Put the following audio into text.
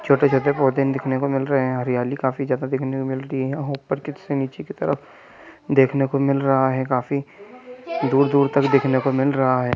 छोटे-छोटे पौधे देखने को मिल रहे है हरियाली काफी ज्यादा दिखने को मिल रही है और ऊपर से नीचे की तरफ देखने को मिल रहा है काफी दूर-दूर तक देखने को मिल रहा है।